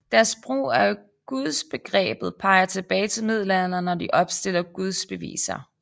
Deres brug af gudsbegrebet peger tilbage til middelalderen og de opstiller gudsbeviser